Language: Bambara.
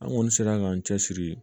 An kɔni sera k'an cɛsiri